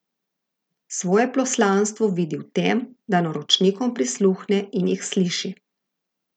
Svoje poslanstvo vidi v tem, da naročnikom prisluhne in jih sliši.